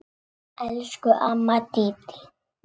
Elsku amma Dídí.